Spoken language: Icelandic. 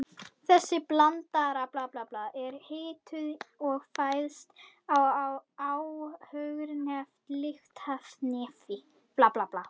Þessi blanda er hituð og fæst þá áðurnefnt lyftiefni.